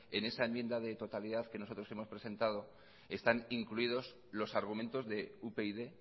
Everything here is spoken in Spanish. en esa enmienda de totalidad que nosotros hemos presentado están incluidos los argumentos de upyd